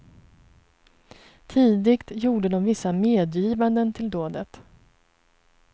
Tidigt gjorde de vissa medgivanden till dådet.